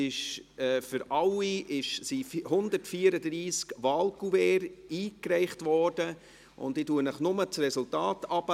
Zu allen sind 134 Wahlkuverts eingereicht worden, und ich lese nur die Resultate vor.